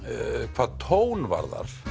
hvað tón varðar